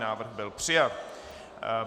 Návrh byl přijat.